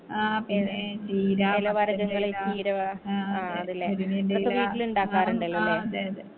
ആ പിന്നെ ചീര മത്തന്റെ എല ആ ആ അതെ മുരിങ്ങന്റെ എല ആ അതെ അതെ